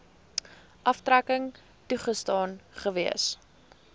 aftrekking toegestaan gewees